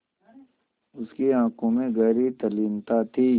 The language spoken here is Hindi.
उसकी आँखों में गहरी तल्लीनता थी